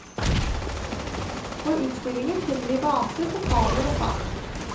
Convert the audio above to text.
På utstillingen finner vi vaser, pokaler og fat.